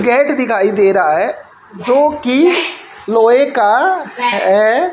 Gate दिखाई दे रहा है जो की लोहे का है।